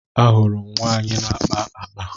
A hụrụ m nwaanyị na-akpa akpa.